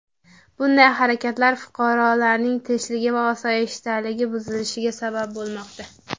Bunday harakatlar fuqarolarning tinchligi va osoyishtaligi buzilishiga sabab bo‘lmoqda.